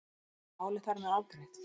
Er málið þar með afgreitt?